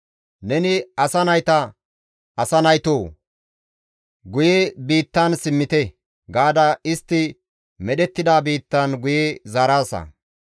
Neni asa nayta, «Asa naytoo! Guye biittan simmite» gaada istti medhettida biittan guye zaaraasa.